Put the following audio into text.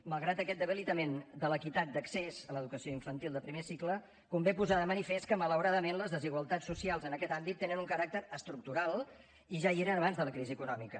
malgrat aquest debilitament de l’equitat d’accés a l’educació infantil de primer cicle convé posar de manifest que malauradament les desigualtats socials en aquest àmbit tenen un caràcter estructural i ja hi eren abans de la crisi econòmica